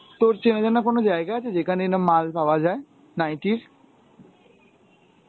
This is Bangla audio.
তোর চেনা জানা কোন জায়গা আছে যেখানে এরাম মাল পাওয়া যায়? নাইটির?